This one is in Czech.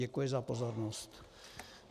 Děkuji za pozornost.